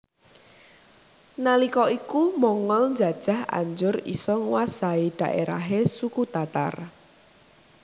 Nalika iku Mongol njajah anjur isa nguwasai dhaerahe suku Tatar